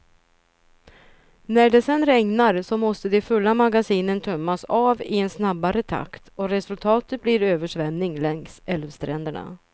När det sedan regnar, så måste de fulla magasinen tömmas av i en snabbare takt och resultatet blir översvämning längs älvstränderna.